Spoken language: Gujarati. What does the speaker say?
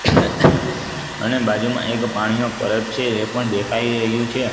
અને બાજુમાં એક પાણીનો પરબ છે એ પણ દેખાય રહ્યુ છે.